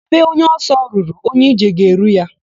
Ebe onye ọsọ ruru, onye ije ga-eru ya.